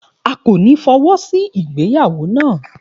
A kò ní fọwọ́sí ìgbéyàwó na